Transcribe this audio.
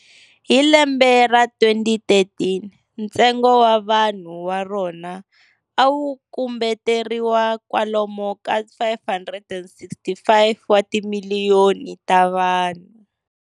Hi lembe ra 2013, ntsengo wa vanhu va rona awukumbeteriwa kwalomu ka 565 watimiliyoni tavanhu.